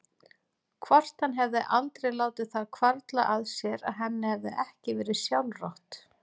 Hvort hann hefði aldrei látið það hvarfla að sér að henni hefði ekki verið sjálfrátt?